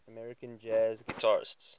american jazz guitarists